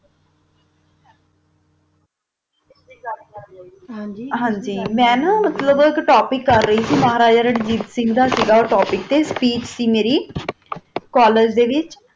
ਹਨ ਗੀ ਮਾ ਨਾ ਮਤਲਬ ਏਕ ਟੋਪਿਕ ਕਰ ਰਾਇ ਸੀ ਮਹਾਰਾਜਾ ਰਣਜੀਤ ਸਿੰਘ ਦਾ ਓਹੋ ਟੋਪਿਕ ਤਾ ਸਪੀਚ ਸੀ ਮੇਰੀ ਕੋਲ੍ਲਾਗੇ ਦਾ ਵਿਤਚ